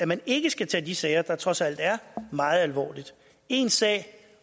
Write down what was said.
man ikke skal tage de sager der trods alt er meget alvorligt én sag